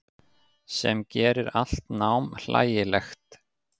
Sem gerir allt nám hlægilegt.